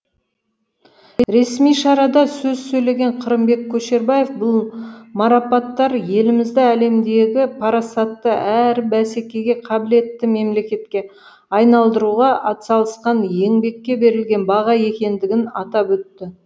ресми шарада сөз сөйлеген қырымбек көшербаев бұл марапаттар елімізді әлемдегі парасатты әрі бәсекеге қабілетті мемлекетке айналдыруға атсалысқан еңбекке берілген баға екендігін атап өтті